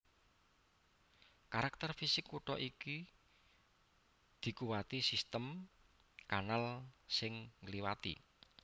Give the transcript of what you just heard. Karakter fisik kutha iki dikuwati sistem kanal sing ngliwati